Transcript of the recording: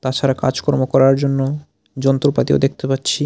তাছাড়া কাজকর্ম করার জন্য যন্ত্রপাতিও দেখতে পাচ্ছি।